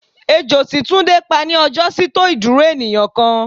Ejo tí túndé pá ní ọjọ́ sí tó ìdúró ènìyàn kan.